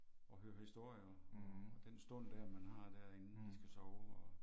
Og høre historier og den stund der man har der inden de skal sove og